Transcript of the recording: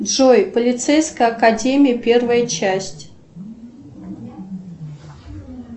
джой полицейская академия первая часть